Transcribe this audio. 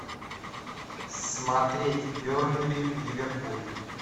смотреть бернли ливерпуль